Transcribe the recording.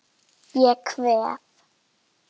Ég kveð.